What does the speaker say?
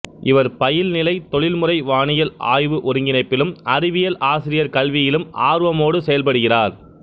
இவர் பயில்நிலை தொழில்முறை வானியல் ஆய்வு ஒருங்கிணைப்பிலும் அறிவியல் ஆசிரியர் கல்வியிலும் ஆர்வமோடு செயல்படுகிறார்